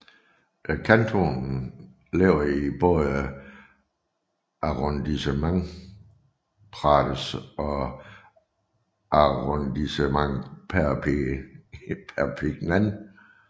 Kantonen ligger i både Arrondissement Prades og Arrondissement Perpignan